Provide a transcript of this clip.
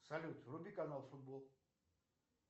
салют вруби канал футбол